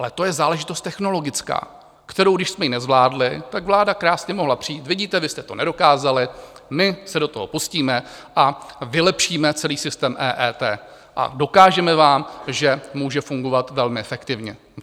Ale to je záležitost technologická, kterou když jsme ji nezvládli, tak vláda krásně mohla přijít: vidíte, vy jste to nedokázali, my se do toho pustíme a vylepšíme celý systém EET a dokážeme vám, že může fungovat velmi efektivně.